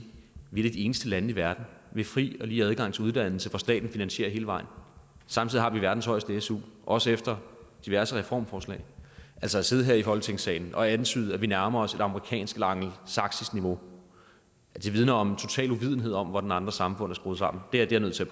vi er eneste lande i verden med fri og lige adgang til uddannelse hvor staten finansierer hele vejen samtidig har vi verdens højeste su også efter diverse reformforslag altså at sidde her i folketingssalen og antyde at vi nærmer os et amerikansk eller angelsaksisk niveau vidner om en total uvidenhed om hvordan andre samfund er skruet sammen det er jeg nødt til